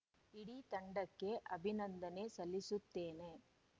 ಇಡೀ ತಂಡಕ್ಕೆ ಅಭಿನಂದನೆ ಸಲ್ಲಿಸುತ್ತೇನೆ